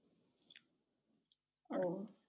উহ